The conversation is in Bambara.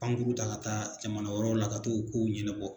Pankuru ta ka taa jamana wɛrɛw la ka t'o kow ɲɛnɛbɔ